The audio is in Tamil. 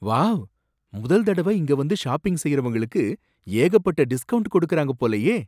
வாவ்! முதல் தடவ இங்க வந்து ஷாப்பிங் செய்றவங்களுக்கு ஏகப்பட்ட டிஸ்கௌண்ட் கொடுக்கறாங்க போலயே!